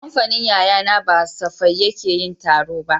Kamfanin yayana ba safai yake yin taro ba